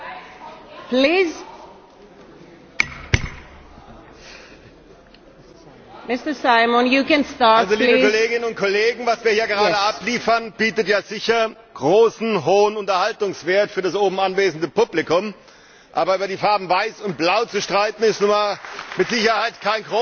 Frau Präsidentin, liebe Kolleginnen und Kollegen! Was wir hier gerade abliefern, bietet ja sicher großen Unterhaltungswert für das oben anwesende Publikum. Aber über die Farben Weiß und Blau zu streiten, ist nun mal mit Sicherheit kein großer politischer Inhalt.